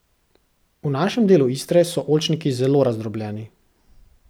V našem delu Istre so oljčniki zelo razdrobljeni.